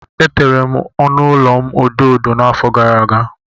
Etere m ọnụ ụlọ m odo odo n'afọ gara aga.